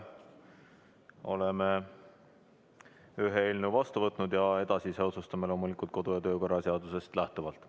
Oleme ühe eelnõu vastu võtnud ja edasise otsustame loomulikult kodu- ja töökorra seadusest lähtuvalt.